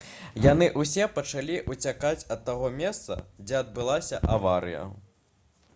яны ўсе пачалі ўцякаць ад таго месца дзе адбылася аварыя